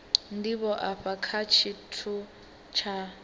ndivho afha kha tshithu tsha